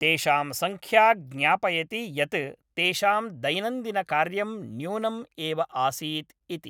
तेषां संख्या ज्ञापयति य़त् तेषां दैनन्दिनकार्यं न्यूनम् एव आसीत् इति।